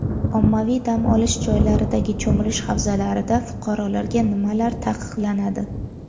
Ommaviy dam olish joylaridagi cho‘milish havzalarida fuqarolarga nimalar taqiqlanadi?.